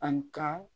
An ka